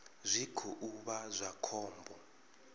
zwi khou vha zwa khombo